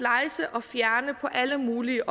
og fjerne på alle mulige